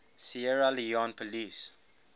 sierra leone police